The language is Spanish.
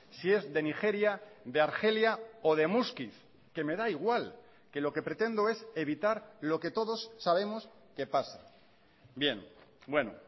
si es de nigeria de argelia o de muskiz que me da igual que lo que pretendo es evitar lo que todos sabemos que pasa bien bueno